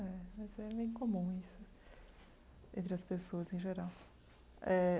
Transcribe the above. É, mas é bem comum isso entre as pessoas em geral eh.